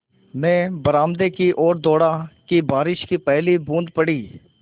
मैं बरामदे की ओर दौड़ा कि बारिश की पहली बूँद पड़ी